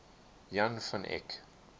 jan van eyck